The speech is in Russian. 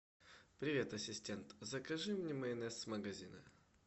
привет ассистент закажи мне майонез с магазина